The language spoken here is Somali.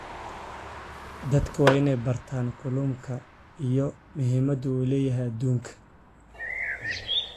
Dadku waa inay bartaan ilaha kalluunka iyo muhiimadda uu u leeyahay adduunka.